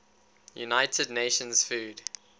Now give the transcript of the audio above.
united nations food